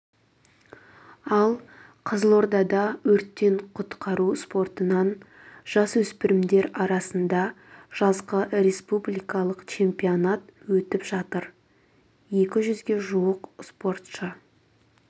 ал қызылордада өрттен құтқару спортынан жасөспірімдер арасында жазғы республикалық чемпионат өтіп жатыр екі жүзге жуық спортшы